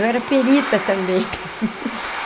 Eu era perita também.